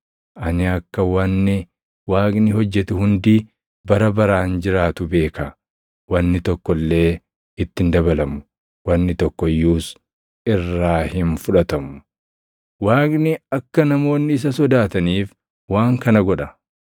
Ani akka wanni Waaqni hojjetu hundi bara baraan jiraatu beeka; wanni tokko illee itti hin dabalamu; wanni tokko iyyuus irraa hin fudhatamu. Waaqni akka namoonni isa sodaataniif waan kana godha.